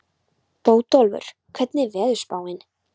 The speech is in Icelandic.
Bótólfur, hvernig er veðurspáin?